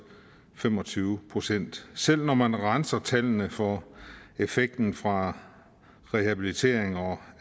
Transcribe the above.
fem og tyve procent selv når man renser tallene for effekten fra rehabilitering og